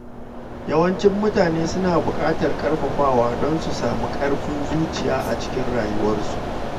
Yawancin mutane suna bukatar ƙarfafawa don su sami ƙarfin zuciya a cikin rayuwarsu.